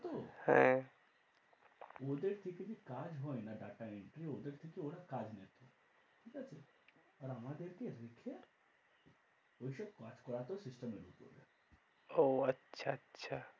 হ্যাঁ। ওদের থেকে কাজ হয় না data entry ওদের থেকে ওরা কাজ নেয়। ঠিক আছে? আর আমাদেরকে রেখে ওই সব কাজ করাত system এর উপরে। ওহ, আচ্ছা আচ্ছা।